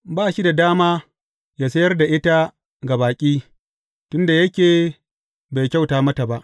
Ba shi da dama yă sayar da ita ga baƙi, tun da yake bai kyauta mata ba.